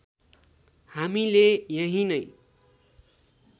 हामीले यहीँ नै